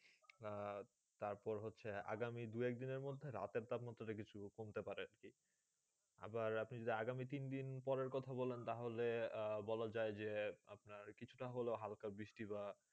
তার পরে হচ্ছেই আগামী দু এক দিন মদদে রাতে তাপমানে সুরকম কমতে পারে আবার আপনি আগামী তিন দিনের কথা পরে কথা বলা তা হলে বলা যায় যে আপিনার কিছু তা হলো হালকা বৃষ্টি বা